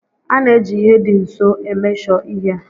A na-eji ihe dị nso emeshọ ihe.